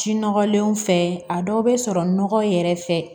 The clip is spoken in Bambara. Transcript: Ji nɔgɔlenw fɛ a dɔw bɛ sɔrɔ nɔgɔ yɛrɛ fɛ